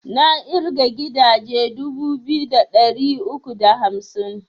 Na ƙirga gidaje dubu biyu da ɗari uku da hamsin